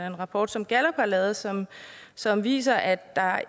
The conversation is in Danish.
en rapport som gallup har lavet som som viser at der